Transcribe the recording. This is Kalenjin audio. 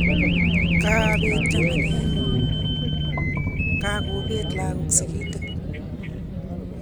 Kaabet chamanenyu, kakobeet lagok sigindet.